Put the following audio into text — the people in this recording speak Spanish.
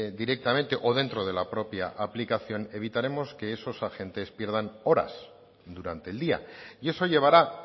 directamente o dentro de la propia aplicación evitaremos que esos agentes pierdan horas durante el día y eso llevará